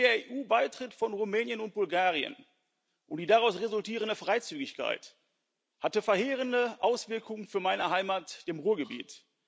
Schon der EU Beitritt von Rumänien und Bulgarien und die daraus resultierende Freizügigkeit hatten verheerende Auswirkungen für meine Heimat im Ruhrgebiet.